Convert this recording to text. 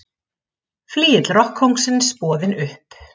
Flygill rokkkóngsins boðinn upp